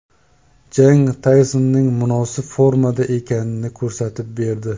Jang Taysonning munosib formada ekanini ko‘rsatib berdi.